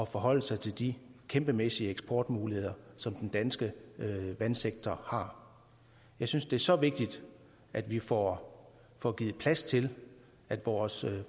forholde sig til de kæmpemæssige eksportmuligheder som den danske vandsektor har jeg synes det er så vigtigt at vi får får givet plads til at vores